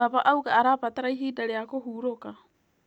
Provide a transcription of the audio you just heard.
Baba auga arabatara ihinda rĩa kũhurũka.